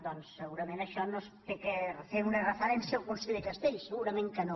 doncs segurament per això no s’ha de fer una referència al conseller castells segurament que no